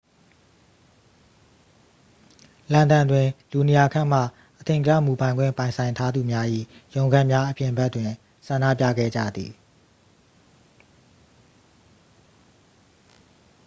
လန်ဒန်တွင် လူ 200 ခန့်မှ အထင်ကရ မူပိုင်ခွင့်ပိုင်ဆိုင်ထားသူများ၏ ရုံးခန်းများအပြင်ဘက်တွင် ဆန္ဒပြခဲ့ကြသည်